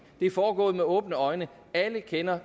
er foregået med åbne øjne og alle kender